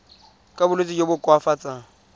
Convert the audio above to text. ka bolwetsi jo bo koafatsang